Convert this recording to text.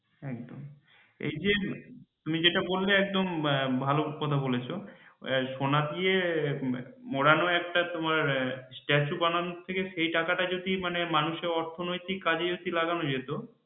এই যে তুমি যেটা বললে একদম হ্যাঁ ভালো কথা বলেছ সোনা দিয়ে মরানো statue বানানোর থেকে তোমার মানুষের অর্থনৈতিক কাজে হচ্ছে লাগানো যেত